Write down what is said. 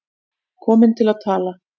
Komin til að tala.